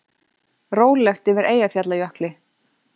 Rólegt yfir Eyjafjallajökli